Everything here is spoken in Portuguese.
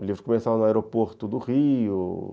O livro começava no aeroporto do Rio.